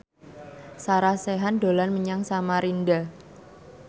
Sarah Sechan dolan menyang Samarinda